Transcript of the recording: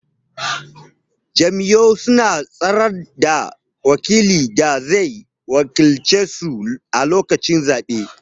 Jam'iyyu suna tsayar da wakilin da zai wakilce su a lokacin zabe.